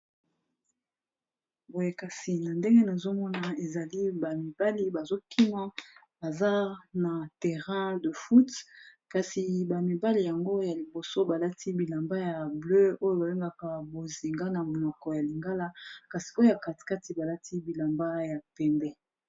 Boye kasi na ndenge nazomona ezali ba mibali bazokima, baza na terrain de foot kasi ba mibali yango ya liboso balati bilamba ya bleu, oyo ba bengaka bozinga na monoko ya lingala, kasi oyo ya katikati balati bilamba ya pembe.